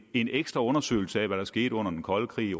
en ekstra undersøgelse af hvad der skete under den kolde krig